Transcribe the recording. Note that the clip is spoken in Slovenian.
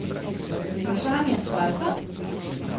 Vprašanje asfalta?